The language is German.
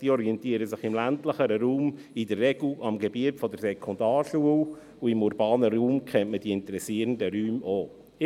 Diese orientieren sich im ländlicheren Raum in der Regel am Gebiet der Sekundarschule, und im urbanen Raum kennt man den interessierenden Raum auch.